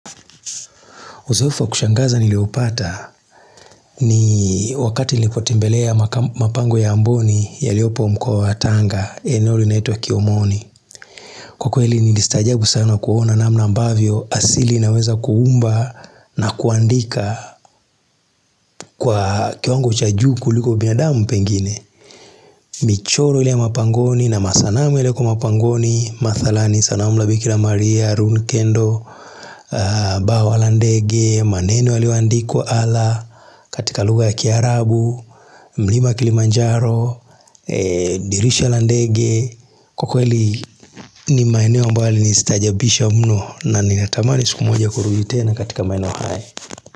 Uzoefu wa kushangaza niliopata, ni wakati nilipotembelea mapango ya mboni yaliopo mkoa wa Tanga, eneo linaitwa Kiomoni. Kwa kweli nilistaajabu sana kuona namna ambavyo asili inaweza kuumba na kuandika kwa kiwango cha juu kuliko binadamu pengine. Michoro ile ya mapangoni na masanamu yalioko mapangoni, mathalani sanamu la bikira maria, run kendo, bawa la ndege, maneno yalioandikwa ala katika lugha ya Kiarabu mlima Kilimanjaro, dirisha la ndege Kwa kweli ni maeneo ambayo yalinistaajabisha mno, na ninatamani siku moja kurudi tena katika maeneo haya.